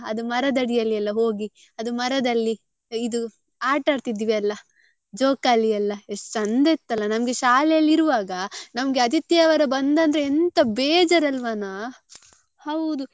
ಅದು ಮರದ ಅಡಿಯೆಲ್ಲಾ ಹೋಗಿ ಅದು ಮರದಲ್ಲಿ ಇದು ಆಟ ಆಡ್ತಿದ್ವಿ ಅಲ್ಲ ಜೋಕಾಲಿಯೆಲ್ಲ ಎಷ್ಟು ಚೆಂದ ಇತ್ತಲ್ಲ ನಮ್ಗೆ ಶಾಲೆಯಲ್ಲಿ ಇರುವಾಗ ನಮ್ಗೆ ಆದಿತ್ಯವಾರ ಬಂತದ್ರೆ ಎಂತ ಬೇಜಾರ್ ಅಲ್ವಾನ ಹೌದು.